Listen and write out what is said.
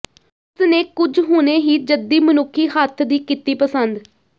ਉਸ ਨੇ ਕੁਝ ਹੁਣੇ ਹੀ ਜੱਦੀ ਮਨੁੱਖੀ ਹੱਥ ਦੀ ਕੀਤੀ ਪਸੰਦ